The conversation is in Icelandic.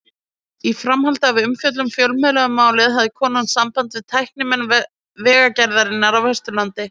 Í framhaldi af umfjöllun fjölmiðla um málið hafði kona samband við tæknimenn Vegagerðarinnar á Vesturlandi.